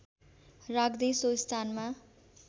राख्दै सो स्थानमा